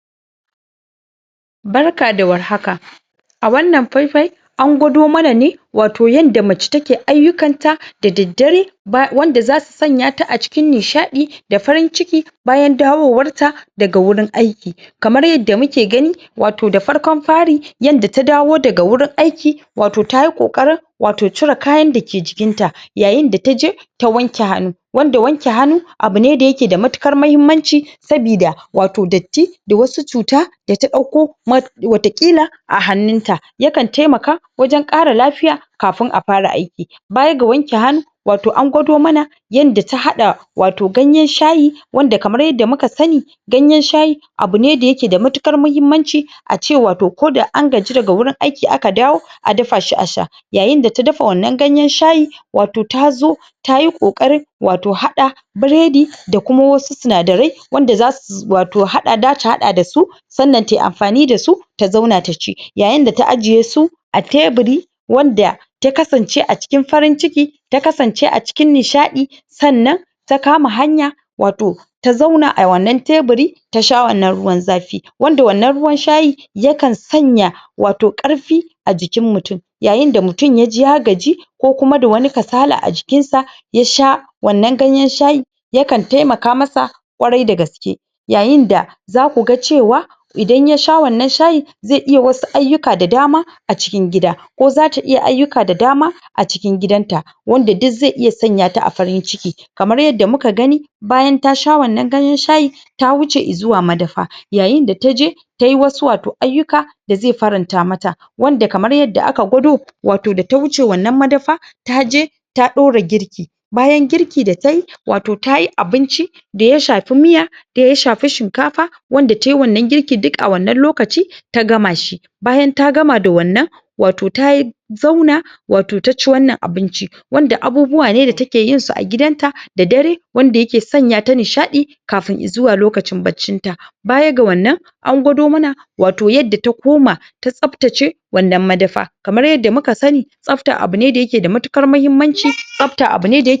Barka da war haka A wannan fai fai An gwado mana ne Wato yanda Wato dangantaka Mai dadi Yanda yake sanya wato zukata Yake sanya zuciyan Wato mutane Kamar yadda muka sani Wato dangantaka Yanayin da ake wato gudanar da ma'amala Na rayuwa Na dangantaka dake tsakani Walau mata da miji ne, Walau saurayi da budurwa Wato abune da yake da matukar mahimmanci Abune da yake da matukar tasiri A tsakanin al'umma Yayin da zamu ga cewa Yanayin dangantakar su Idan ta kasance Abu na farin ciki Na nishadi Wato a tsakani Wanda za'a gani Wato ya sanyaya zukatan mutane Wato ya sanya Wato farin ciki Da ganin abun koyi Ga al'umma ko ince ga mutane baki daya Yanayin dangantaka Wato idan aka ganshi Akan ji farin ciki Yakan sanya ta Wa mutane rai Yayin da zamu ga cewa Ko mata da miji ne misali Yanayin yanda suke gudanar da rayuwa Rayuwar da zai burge mutane Wato rayuwa Na taimakon juna A tsakanin su Rayuwa na nuna farin ciki A tsakanin su Rayuwa na nuna kulawa a tsakanin su Yayin da na miji ya maida mace Abokiyar shawarar sa Abokiyar firar sa abokiyar wasannin sa Abokiyar rayuwar sa baki daya Wannan yakan taimaka Wato wajen farin cikin su Wajen sanyaya wato Yanda wasu idan suka ga yanayin Ma'amala da dangantakar su Zai sanyaya masu zuciya Kuma zai sa wato, ayi koyi Da yanayin yanda suke gudanar Da rayuwar su Na rayuwa da yake cike da farin ciki Wato wannan dangantaka Dangantaka ne, Da za'a iya koyi dashi haka ma Wato zaku ga cewa Ita ma mace ta gefen ta Yayin da tamaida sa ta maida wato koda mai gidan tane Mijin ta wato Abokin shawara abokin fira Abokin wassanni Wato yakan taimaka Wajen da zaku ga cewa Yakan sanyaka zuciyar mutane Yadda za'a gani Ayi koyi Haka ma koda a tsakanin saurayi ne da budurwa Zaku ga cewa yayin da Mu'amalar su Wato dangantakar su Ta kasance wato abun ayi koyi Abun farin ciki Yakan sanyaka zukatan mutane Yayin da zaku ga cewa Yanayin yanda suke gudanar da rayuwar su Yanda suke gudanar da soyayyar su Yadda suke nishadi a tskanin su Zaku ga cewa yakan burge mutane Yakan sa mutane a cikin farin ciki Har a Wato a gansu Ayi koyi dasu Yanayin yanda suke tafiyar da rayuwar su Zuwa wuraren shaqatawa Wuraren wassanni Yanayin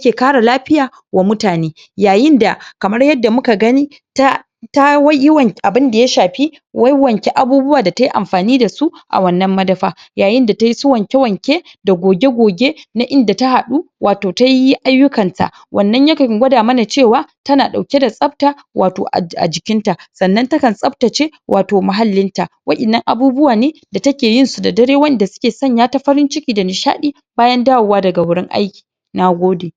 yanda suke gudanar da rayuwa Zai kasance rayuwa ne Da yake burge al'umma baki daya Wannan yakan taimaka Wajen da mutane zasu gani Ko kuma ince jama'a zasu gani Suyi koyi Wannnan shiyasa yake da kwau Ya kasance a ma'amala Ko ince a dangantaka an samu kakkayar ma'amala An samu dangantaka A tsakanin juna Wannan yakan taimaka wajen sanyaya zukatan mutane Harma suyi koyi dashi Na gode